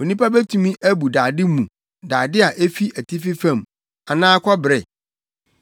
“Onipa betumi abu dade mu dade a efi atifi fam, anaa kɔbere?